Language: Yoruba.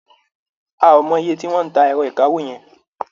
A ò mo iye tí wọ́n ń ta ẹ̀rọ ìkawó yẹn.